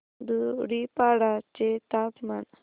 धुडीपाडा चे तापमान